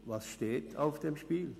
Was steht auf dem Spiel?